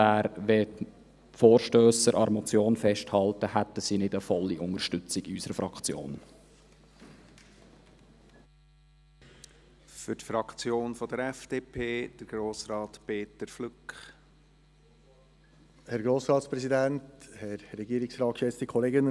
In diesem Sinne hätten die Vorstösser nicht die volle Unterstützung unserer Fraktion, wenn sie an der Motion festhielten.